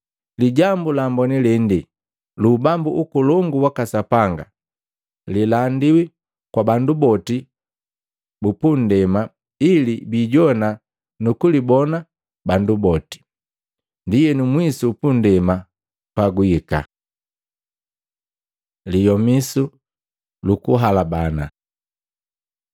Lijambu la Amboni lende lu ubambu ukolongu waka Sapanga liilandiwa kwa bandu boti punndema ili bilijowana nukulibona bandu boti. Ndienu mwisu upunndema pagwihika.” Liyomisu lukuhalabana Maluko 13:14-23; Luka 21:20-24